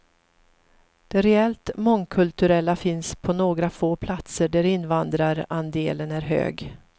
Det reellt mångkulturella finns på några få platser där invandrarandelen är hög.